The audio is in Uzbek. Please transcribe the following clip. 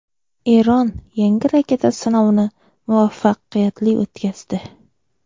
Eron yangi raketa sinovini muvaffaqiyatli o‘tkazdi.